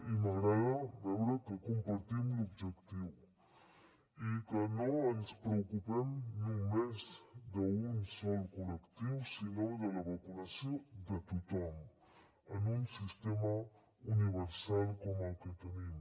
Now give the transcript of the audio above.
i m’agrada veure que compartim l’objectiu i que no ens preocupem només d’un sol col·lectiu sinó de la vacunació de tothom en un sistema universal com el que tenim